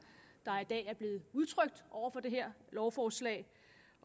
der i dag er blevet udtrykt over for det her lovforslag